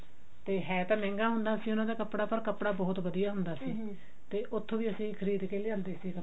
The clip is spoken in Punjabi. ਤੇ ਹੈ ਤਾਂ ਮਹਿੰਗਾ ਹੁੰਦਾ ਸੀ ਪਰ ਕੱਪੜਾ ਬਹੁਤ ਵਧੀਆ ਹੁੰਦਾ ਸੀ ਤੇ ਉੱਥੋਂ ਵੀ ਅਸੀਂ ਖਰੜ ਕੇ ਲਿਆਉਂਦੇ ਸੀ